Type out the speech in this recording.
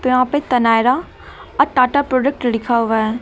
यहां पे तनाएरा अ टाटा प्रोडक्ट लिखा हुआ है।